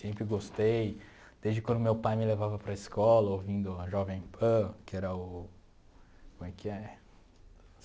Sempre gostei, desde quando meu pai me levava para a escola ouvindo a Jovem Pan, que era o... como é que é?